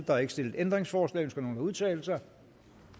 der er ikke stillet ændringsforslag ønsker nogen at udtale sig